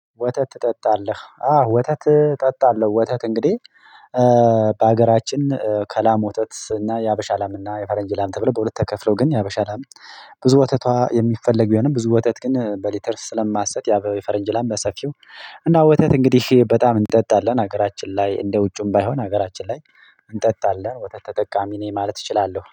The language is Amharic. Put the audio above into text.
ወተት ትጠጣለህ አዎ ወተት እጠጣለሁ ወተት? እንግዲህ በሀገራችን ከላም ወተት እና የሀበሻ አላም እና የፈረንጅላም ተብሎ በሁለት ተከፍሎ ግን የሀበሻ አላም ብዙ ወተቷ የሚፈለግ ይሆንም ብዙ ወተት ግን በሊተርስ ስለማሰት ያ በፈረንጅ ላም በሰፊው እና ወተት እንግዲህ በጣም እንጠጣለን ሀገራችን ላይ እንደ ውጩም ባይሆን ሀገራችን ላይ እንጠጣለን ወተት ተጠቃሚ ነኝ። ማለት እችላለሁ